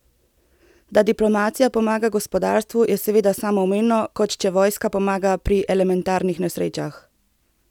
Da diplomacija pomaga gospodarstvu, je seveda samoumevno, kot če vojska pomaga pri elementarnih nesrečah.